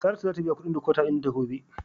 Saratu zata biya kudin " decoder" dinta gobe.